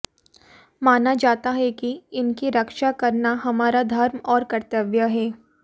माना जाता ह कि इनकी रक्षा करना हमरा धर्म और कर्तव्य है